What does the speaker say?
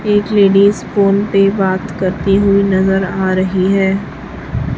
एक ladies phone पे बात करती हुई नजर आ रही है।